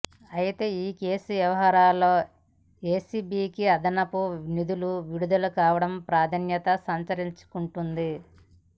అయితే ఈ కేసు వ్యవహారంలో ఏసీబీకి అదనపు నిధులు విడుదల కావడం ప్రాధాన్యత సంతరించుకుంటుంది